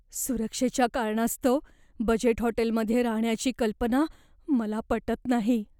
सुरक्षेच्या कारणास्तव बजेट हॉटेलमध्ये राहण्याची कल्पना मला पटत नाही.